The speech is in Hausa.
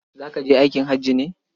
Za ka je aikin haji ne?